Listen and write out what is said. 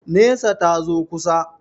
Nesa, ta zo kusa.